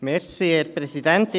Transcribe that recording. Kommissionsprecher der JuKo.